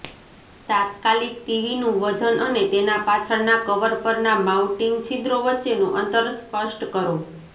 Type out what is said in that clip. તાત્કાલિક ટીવીનું વજન અને તેના પાછળના કવર પરના માઉન્ટિંગ છિદ્રો વચ્ચેનું અંતર સ્પષ્ટ કરો